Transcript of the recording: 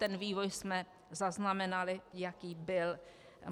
Ten vývoj jsme zaznamenali, jaký byl.